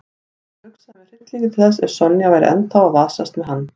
Hann hugsaði með hryllingi til þess ef Sonja væri ennþá að vasast með hann.